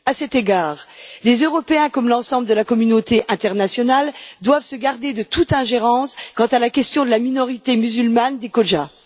À cet égard, les Européens, comme l'ensemble de la communauté internationale, doivent se garder de toute ingérence quant à la question de la minorité musulmane des Khojas.